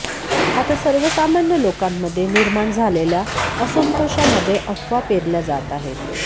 आता सर्वसामान्य लोकांमध्ये निर्माण झालेल्या असंतोषामध्ये अफवा पेरल्या जात आहेत